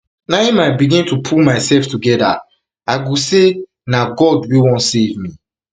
im i begin to pull myself togeda i go say na god wey wan save me